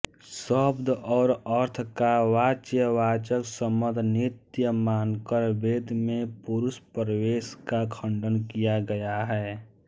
शब्द और अर्थ का वाच्यवाचकसंबंध नित्य मानकर वेद में पुरुषप्रवेश का खंडन किया गया है